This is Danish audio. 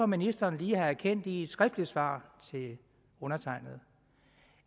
ministeren lige har erkendt i et skriftligt svar til undertegnede